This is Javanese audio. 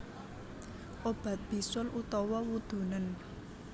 Obat bisul utawa wudunen